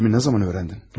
Yerimi nə vaxt öyrəndin?